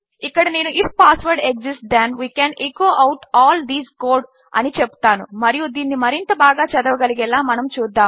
ఇక్కడ నేను if password exists then we can echo out all this code అని చెపుతానుమరియు దీనిని మరింత బాగా చదవగలిగేలా మనము చూద్దాము